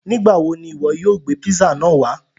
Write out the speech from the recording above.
Nígbàwọ̀ ni iwọ yóò gbe pízzà náà wà?